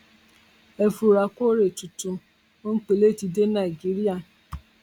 ẹ fura kore tuntun ti dé nigeria